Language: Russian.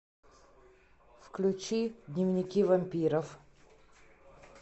включи дневники вампиров